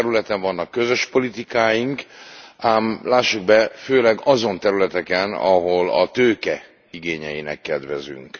Sok területen vannak közös politikáink, ám lássuk be, főleg azon területeken, ahol a tőke igényeinek kedvezünk.